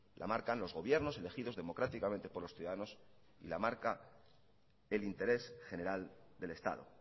la marcan los gobiernos elegidos democráticamente por los ciudadanos y la marca el interés general del estado